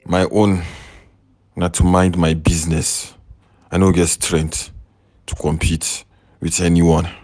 My own na to mind my business. I no get strength to compete with anyone.